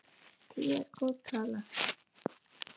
Tíu er góð tala.